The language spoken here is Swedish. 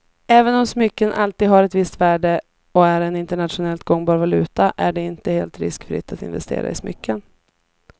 Även om smycken alltid har ett visst värde och är en internationellt gångbar valuta är det inte helt riskfritt att investera i smycken.